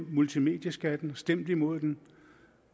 multimedieskatten stemt imod den